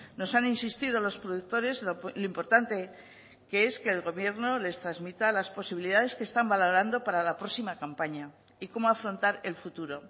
nos han insistido los productores lo importante que es que el gobierno les transmita las posibilidades que están valorando para la próxima campaña y cómo afrontar el futuro